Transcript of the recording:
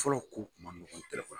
Fɔlɔw ko kuma nɔgɔ